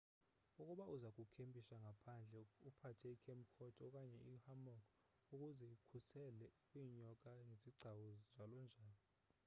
ukuba uzakukempisha ngaphandle uphathe ikhemp cot okanye i hammock ukuze ikukhusele kwinyoka nezigcawu njalo njalo